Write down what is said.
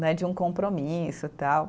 Né, de um compromisso, tal.